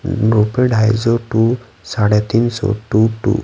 no पे ढाई सौ टू साढ़े तीन सौ टू टू --